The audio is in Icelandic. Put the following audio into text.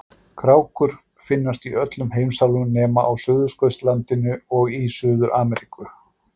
Krákur finnast í öllum heimsálfum nema á Suðurskautslandinu og í Suður-Ameríku.